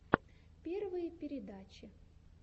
первые передачи